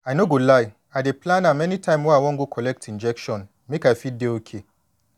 i no go lie i dey plan am anytime wey i wan go collect injection make i fit dey okay